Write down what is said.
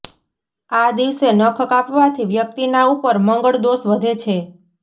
આ દિવસે નખ કાપવાથી વ્યક્તિના ઉપર મંગળ દોષ વધે છે